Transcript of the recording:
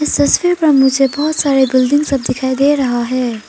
सस्वीर पर मुझे बहोत सारे बिल्डिंग सब दिखाई दे रहा है।